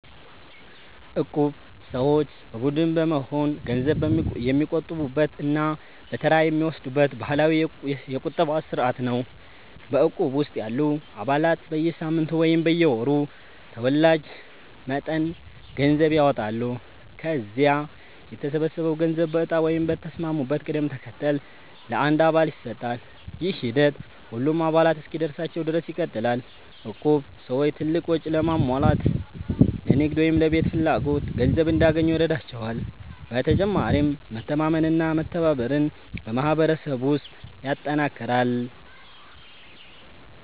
እቁብ ሰዎች በቡድን በመሆን ገንዘብ የሚቆጥቡበት እና በተራ የሚወስዱበት ባህላዊ የቁጠባ ስርዓት ነው። በእቁብ ውስጥ ያሉ አባላት በየሳምንቱ ወይም በየወሩ ተወላጅ መጠን ገንዘብ ያዋጣሉ። ከዚያ የተሰበሰበው ገንዘብ በእጣ ወይም በተስማሙበት ቅደም ተከተል ለአንድ አባል ይሰጣል። ይህ ሂደት ሁሉም አባላት እስኪደርሳቸው ድረስ ይቀጥላል። እቁብ ሰዎች ትልቅ ወጪ ለማሟላት፣ ለንግድ ወይም ለቤት ፍላጎት ገንዘብ እንዲያገኙ ይረዳቸዋል። በተጨማሪም መተማመንና መተባበርን በማህበረሰብ ውስጥ ያጠናክራል።